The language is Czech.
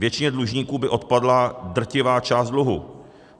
Většině dlužníků by odpadla drtivá část dluhu.